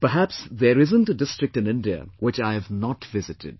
Perhaps there isn't a district in India which I have not visited